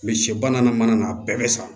sɛ ba n'a mana na a bɛɛ bɛ sa